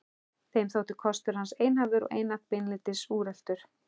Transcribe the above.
Þeim þótti kostur hans einhæfur og einatt beinlínis úreltur.